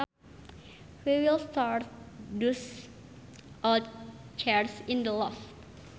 We will store those old chairs in the loft